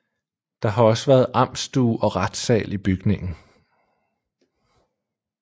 Der har også været amtsstue og retssal i bygningen